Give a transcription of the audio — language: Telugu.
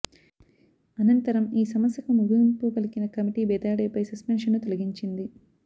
అనంతరం ఈ సమస్యకు ముగింపు పలికిన కమిటీ బెదాడేపై సస్పెన్షన్ను తొలగించింది